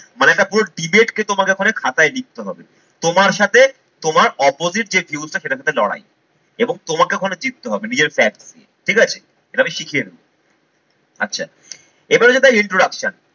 মানে একটা পুরো debate কে তোমাকে ওখানে খাতায় লিখতে হবে। তোমার সাথে তোমার opposite যে views টা সেটার সাথে লড়াই এবং তোমাকে ওখানে জিততে হবে নিজের facts নিয়ে ঠিক আছে? এটা আমি শিখিয়ে দেবো। আচ্ছা এবারে যেটা introduction